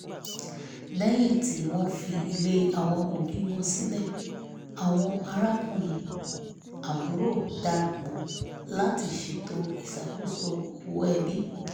lẹ́yìn tí wọ́n fi ilé àwọn òbí wọn sílẹ̀ àwọn arákùnrin/àbúrò darapọ̀ láti ṣètò ìṣakoso owó ẹbí